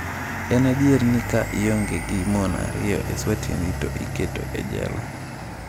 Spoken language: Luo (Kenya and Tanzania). En adier ni ka ionge gi mon ariyo e swatini to iketo e jela?